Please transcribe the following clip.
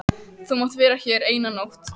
Þú mátt vera hér eina nótt.